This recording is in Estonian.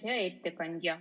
Hea ettekandja!